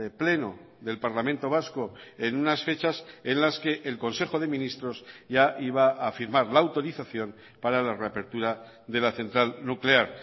pleno del parlamento vasco en unas fechas en las que el consejo de ministros ya iba a firmar la autorización para la reapertura de la central nuclear